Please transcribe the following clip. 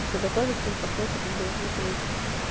это все готовится и в процессе как бы веселиться